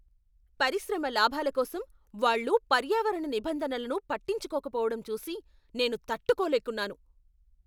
పరిశ్రమ లాభాల కోసం వాళ్ళు పర్యావరణ నిబంధనలను పట్టించుకోకపోవడం చూసి నేను తట్టుకోలేకున్నాను.